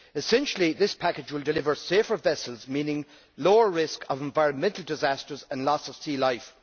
Essentially, this package will deliver safer vessels, meaning a lower risk of environmental disasters and loss of sea life.